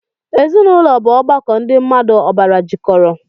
Ezinụlọ bu ọgbakọ ndị mmmadụ ọbara jikọrọ